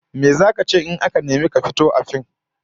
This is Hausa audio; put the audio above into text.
Me zaka ce in aka nemi ka fito a fim?